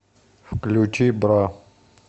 включи бра